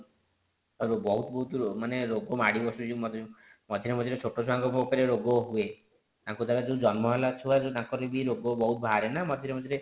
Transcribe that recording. ବହୁତ ବହୁତ ମାନେ ରୋଗ ମାଡି ବସୁଛି ମଝିରେ ମଝିରେ ବି ଛୋଟ ଛୁଆଙ୍କୁ ରୋଗ ହୁଏ ତାଙ୍କ ଦ୍ଵାରା ଯଉ ଜନ୍ମ ହେଲା ଛୁଆ ତାଙ୍କର ବି ରୋଗ ବହୁତ ବାହାରେ ନା ମଝିରେ ମଝିରେ